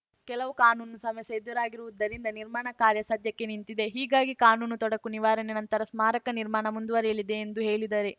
ಕೆಲವು ಕಾನೂನು ಸಮಸ್ಯೆ ಎದುರಾಗಿರುವುದರಿಂದ ನಿರ್ಮಾಣ ಕಾರ್ಯ ಸದ್ಯಕ್ಕೆ ನಿಂತಿದೆ ಹೀಗಾಗಿ ಕಾನೂನು ತೊಡಕು ನಿವಾರಣೆ ನಂತರ ಸ್ಮಾರಕ ನಿರ್ಮಾಣ ಮುಂದುವರೆಯಲಿದೆ ಎಂದು ಹೇಳಿದರು